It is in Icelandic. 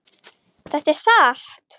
Þetta er satt!